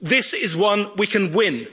this is one we can